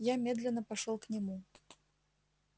я медленно пошёл к нему